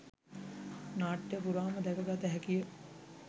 නාට්‍ය පුරාම දැක ගත හැකිය.